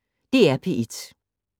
DR P1